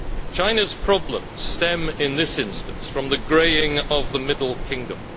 China's problems stem in this instance from the greying of the middle kingdom.